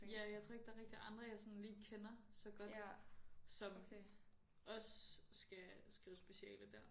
Ja jeg tror ikke der rigtig er andre jeg sådan lige kender så godt som også skal skrive speciale dér